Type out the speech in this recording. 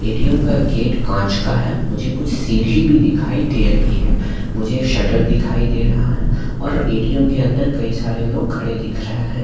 ATM का gate कांच का है मुझे कुछ सीढ़ी भी दिखाई दे रही है मुझे शटर दिखाई दे रहा है और ए_टी_एम के अंदर कई सारे लोग खड़े दिख रहे हैं।